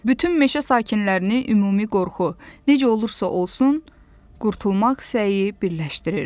Bütün meşə sakinlərini ümumi qorxu, necə olursa olsun, qurtulmaq səyi birləşdirirdi.